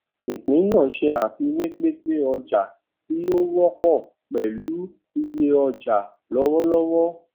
ìpín náà ṣe àfiwé pínpín ọjà tí ó wọpọ pẹlú iye ọjà lọwọlọwọ